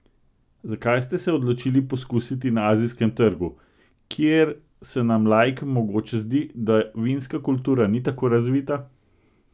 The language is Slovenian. Zakaj ste se odločili poskusiti na azijskem trgu, kjer se nam laikom mogoče zdi, da vinska kultura ni tako razvita?